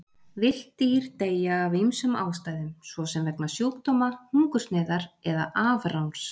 Villt dýr deyja af ýmsum ástæðum, svo sem vegna sjúkdóma, hungursneyðar eða afráns.